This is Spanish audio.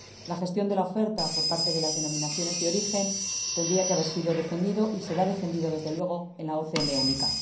La gestión de la oferta por parte de las denominaciones de origen tendría que haber sido defendida, y será defendida, desde luego, en la OCM única.